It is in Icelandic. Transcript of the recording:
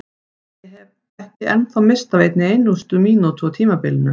Ég hef ekki ennþá misst af einni mínútu á tímabilinu!